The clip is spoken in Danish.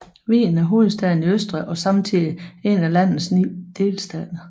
Wien er hovedstaden i Østrig og samtidig én af landets 9 delstater